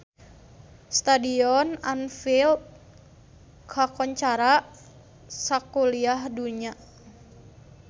Stadion Anfield kakoncara sakuliah dunya